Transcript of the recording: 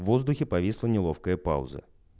воздухе повисла неловкая пауза